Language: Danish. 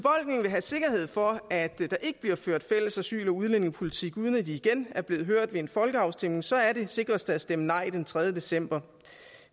vil have sikkerhed for at der ikke bliver ført fælles asyl og udlændingepolitik uden at de igen er blevet hørt ved en folkeafstemning så er det sikreste at stemme nej den tredje december